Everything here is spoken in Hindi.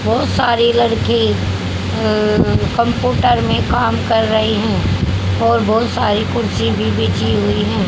बहोत सारी लड़की अ अ कम्पूटर मे काम कर रही हैं के और बहोत सारी कुर्सी भी बिछी हुई है।